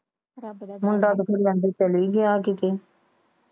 ਮੁੰਡਾ ਕਹਿੰਦੇ ਚਲਾ ਗਿਆ ਕੀਤੇ